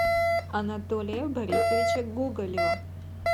анатолия борисовича гоголева